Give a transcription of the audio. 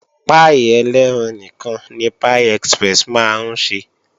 Páì elẹ́ran nìkan ni Pie express máa ń ṣe